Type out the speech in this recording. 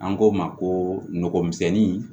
An k'o ma ko nɔgɔmisɛnni